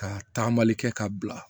Ka taamali kɛ ka bila